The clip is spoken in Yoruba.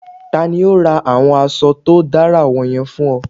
Tani o ra awọn aṣọ to dara wọnyẹn fun ọ?